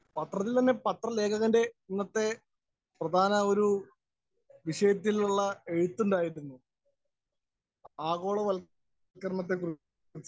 Speaker 1 പത്രത്തില്‍ തന്നെ പത്രലേഖകന്‍റെ ഇന്നത്തെ പ്രധാന ഒരു വിഷയത്തിലുള്ള എഴുത്തുണ്ടായിരിക്കുന്നു. ആഗോളവല്‍ക്കരണത്തെ കുറിച്ച്.